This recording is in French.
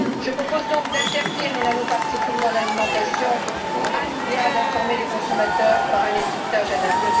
Je propose donc d'interdire les nanoparticules dans l'alimentation ou, a minima, d'informer les consommateurs par un étiquetage adapté.